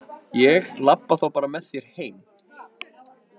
Ég labba þá bara með þér heim.